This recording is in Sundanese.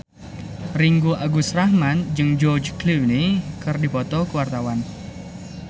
Ringgo Agus Rahman jeung George Clooney keur dipoto ku wartawan